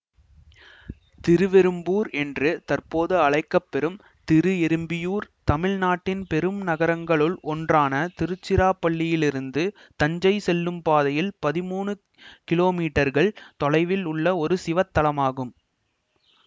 திருவெறும்பூர் என்று தற்போது அழைக்க பெறும் திருஎறும்பியூர் தமிழ் நாட்டின் பெரும் நகரங்களுள் ஒன்றான திருச்சிராப்பள்ளியிலிருந்து தஞ்சை செல்லும் பாதையில் பதிமூனு கிலோமீட்டர்கள் தொலைவில் உள்ள ஒரு சிவத்தலமாகும்